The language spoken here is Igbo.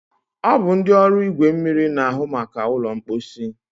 ọ bụ ndị ọrụ igwe mmiri na-ahụ maka ụlọ mkposi.